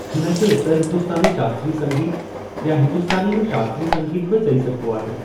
हिनखे उत्तर हिंदुस्‍तानी शास्त्रीय संगीत या हिंदुस्तानी में शास्त्री संगीत बि चई सघबो आहे।